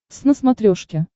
твз на смотрешке